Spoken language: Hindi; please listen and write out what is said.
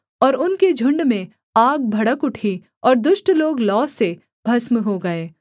और उनके झुण्ड में आग भड़क उठी और दुष्ट लोग लौ से भस्म हो गए